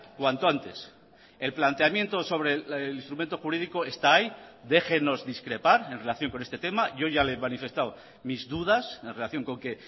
cuanto antes el planteamiento sobre el instrumento jurídico está ahí déjennos discrepar en relación con este tema yo ya le he manifestado mis dudas en relación con que